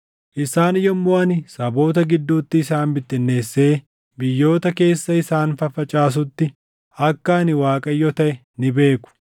“Isaan yommuu ani saboota gidduutti isaan bittinneessee biyyoota keessa isaan faffacaasutti, akka ani Waaqayyo taʼe ni beeku.